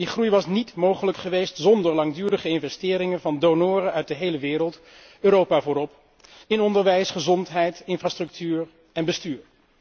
Die groei was niet mogelijk geweest zonder langdurige investeringen van donoren uit de hele wereld Europa voorop in onderwijs, gezondheid, infrastructuur en bestuur.